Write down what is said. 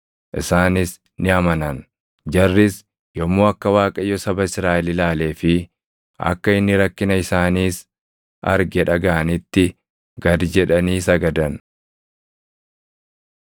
isaanis ni amanan. Jarris yommuu akka Waaqayyo saba Israaʼel ilaalee fi akka inni rakkina isaaniis arge dhagaʼanitti gad jedhanii sagadan.